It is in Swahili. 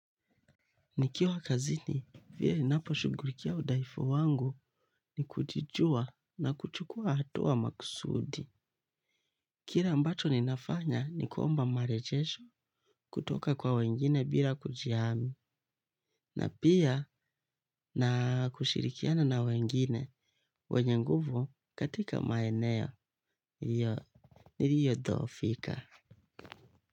Nikiwa kazini, vile ninaposhugurikia udaifu wangu ni kujijua na kuchukua hatua maksudi. Kire ambacho ninafanya ni kuomba marejesho kutoka kwa wengine bila kujihami. Na pia na kushirikiana na wengine wenye nguvu katika maeneo. Iyo, niriyo dhofika.